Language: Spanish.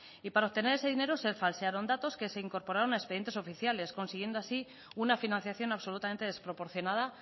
y para obtener ese dinero se falsearon datos que se incorporaron a expedientes oficiales consiguiendo así una financiación absolutamente desproporcionada